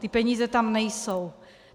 Ty peníze tam nejsou.